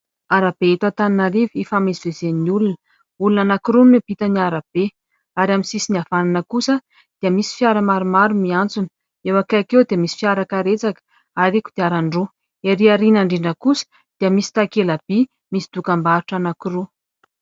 Arabe eto Antananarivo ifamezivezen'ny olona. Olona anankiroa miampita ny arabe ary amin'ny sisiny havanana kosa dia misy fiara maromaro miantsona. Eo akaiky eo dia misy fiara karetsaka ary kodiaran-droa, ery aoriana indrindra koa dia misy takela-by misy dokam-barotra anankiroa.